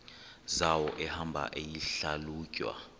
zawo ehamba eyihlalutya